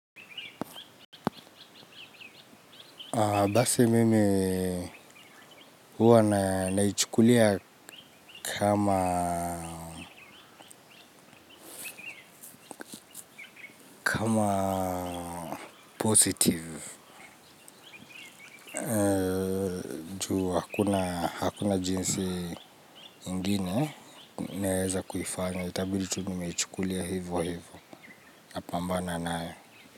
Basi mimi huwa naichukulia kama positive. Hakuna jinsi ingine, naeza kuifanya. Itabidi tu niichukulie hivo hivo. Napambana nayo.